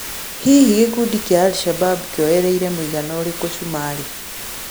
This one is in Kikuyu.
Hĩhĩ gĩkũndĩ kĩa al-shabab kĩoereire mũĩgana ũrĩkũ cũmarĩ?